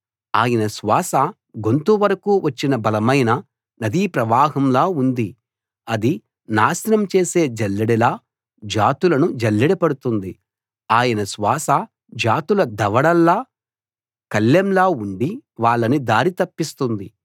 ఆయన శ్వాస గొంతు వరకూ వచ్చిన బలమైన నదీ ప్రవాహంలా ఉంది అది నాశనం చేసే జల్లెడలా జాతులను జల్లెడ పడుతుంది ఆయన శ్వాస జాతుల దవడల్లో కళ్ళెంలా ఉండి వాళ్ళని దారి తప్పిస్తుంది